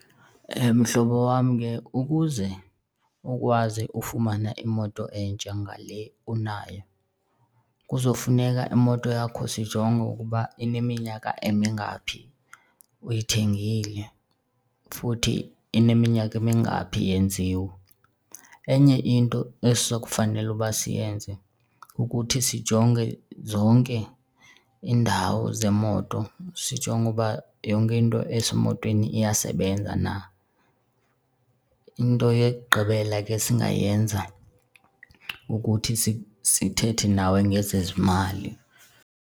Mhlobo wam, ke ukuze ukwazi ufumana imoto entsha ngale unayo kuzofuneka imoto yakho sijonge ukuba ineminyaka emingaphi uyithengile futhi ineminyaka emingaphi yenziwe. Enye into esiza kufanela uba siyenze kukuthi sijonge zonke iindawo zemoto, sijonge uba yonke into esemotweni iyasebenza na. Into yokugqibela ke esingayenza kukuthi sithethe nawe ngezezimali.